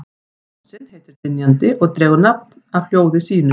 Fossinn heitir Dynjandi og dregur nafn af hljóði sínu.